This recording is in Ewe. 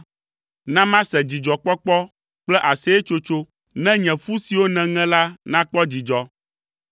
Na mase dzidzɔkpɔkpɔ kple aseyetsotso, ne nye ƒu siwo nèŋe la nakpɔ dzidzɔ.